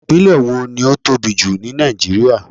Ìpínlẹ̀ wo ni ó tóbi jù ní Nàìjíríà.